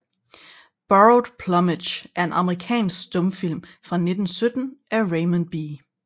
Borrowed Plumage er en amerikansk stumfilm fra 1917 af Raymond B